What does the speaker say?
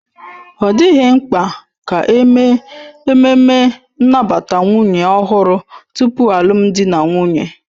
Ọ dịghị mkpa ka eme ememme nnabata nwunye ọhụrụ tupu alụmdi na nwunye